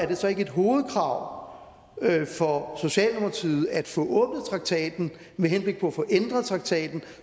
det så ikke et hovedkrav for socialdemokratiet at få åbnet traktaten med henblik på at få ændret traktaten